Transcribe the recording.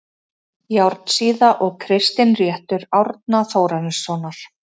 Járnsíða og Kristinréttur Árna Þórarinssonar